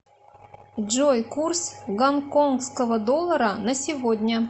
джой курс гонконского доллара на сегодня